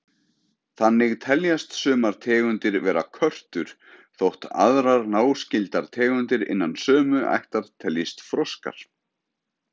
Þannig teljast sumar tegundir vera körtur þótt aðrar náskyldar tegundir innan sömu ættar teljist froskar.